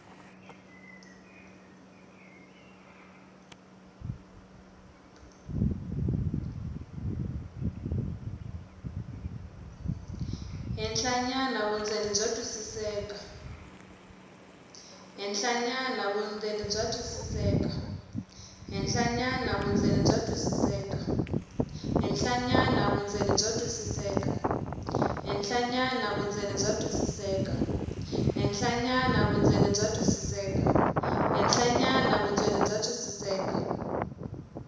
henhlanyana vundzeni bya twisiseka